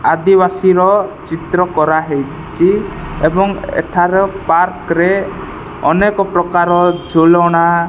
ଆଦିବାସିର ଚିତ୍ର କରାହେଇଛି ଏବଂ ଏଠାର ପାର୍କ ରେ ଅନେକ ପ୍ରକାର ଝୁଲାଣା --